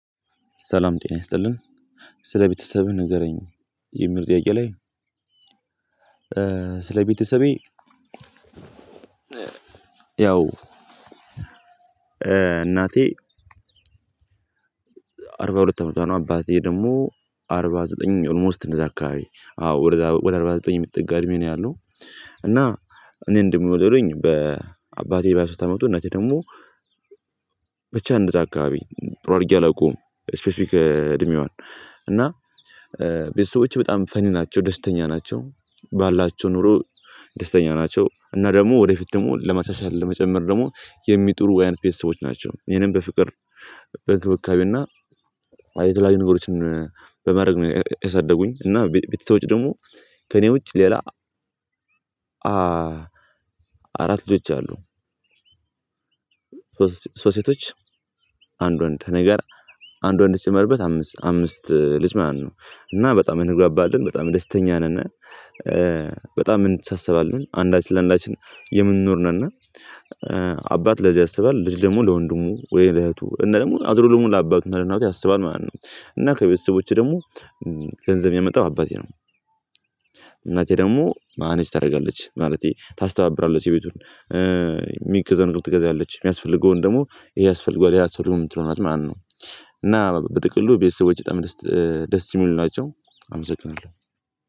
ሰላም ጤና ይስጥልን ስለ ቤተሰብህ ንገረኝ? የሚል ጥያቄ ላይ ስለ ቤተሰቤ ያው እናቴ አርባ ሁለት አመቷ ነው አባቴ ደግሞ አርባ ዘጠኝ ኦልሞስት እንደዛ አካባቢ አዎ ወደ አርባ ዘጠኝ የሚጠጋ እድሜ ነው ያለው እና እኔ ደግሞ የወለዱኝ በ አባቴ በሃያ ሶስት አመቱ እናቴ ደግሞ ብቻ እንደዛ አካባቢ ጥሩ አርጌ አላውቀውም ስፔሲፊክ እድሜዋን እና ቤተሰቦቼ በጣም ፈኒ ናቸው ደስተኛ ናቸው ባላቸው ኑሮ ደስተኛ ናቸው እና ደግሞ ወደፊት ደግሞ ለማሻሻል ለመጨመር ደግሞ የሚጥሩ አይነት ቤተሰቦች ናቸው ይህንን በፍቅር በክብካቤው እና የተለያዩ ነገሮችን በማድረግ ነው ያሳደጉኝ እና ቤተሰቦች ደግሞ ከእኔ ውጭ ሌላ አራት ልጆች አሉ ሶስት ሴቶች አንድ ወንድ እኔ ጋር አንድ ወንድ ሲጨመርበት አምስት አምስት ልጅ ማን ነው እና በጣም እንግባባለን በጣም ደስተኛ ነን በጣም እንተሳሰባለን አንዳች ለአንዳች የምንኖር ነነ እና አባት ለልጅ ያስባል ልጅ ደግሞ ለወንድሙ ወይ ለእህቱ እና ደግሞ አዙሮ ደግሞ ለአባቱና ለእናቱ ያስባል ማለት ነው እና ከቤተሰቦቼ ደግሞ ገንዘብ የሚያመጣው አባቴ ነው እናቴ ደግሞ ማኔጅ ታደርጋለች ማለቴ ታስተባብራለህ እሱ ቤቱን የሚገዛውን ነገር ትገዛለች የሚያስፈልገውን ደግሞ ይሄ ያስፈልገዋል ያ አያስፈልገውም የምትለው ናት ማን ነው እና በጥቅሉ ቤተሰቦቸ በጣም ደስት ደስ የሚሉ ናቸው አመሰግናለሁ